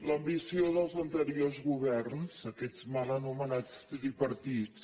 l’ambició dels anteriors governs aquests mal anomenats tripartits